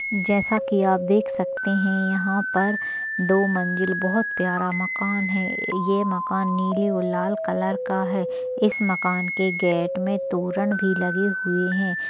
जैसा की आप देख सकते है यहाँ पर दो मंजिल बहुत प्यारा मकान है ये मकान नील और लाल कलर का है इस मकान के गेट मे तोरण भी लगे हुए है।